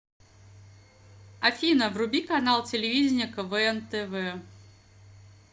афина вруби канал телевидения квн тв